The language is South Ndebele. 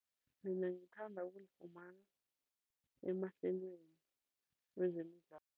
Mina ngithanda ukulifumana emahlelweni wezemidlalo.